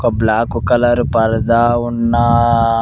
ఒక black colour పరదా ఉన్నా--